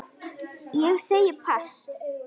Ég segi pass.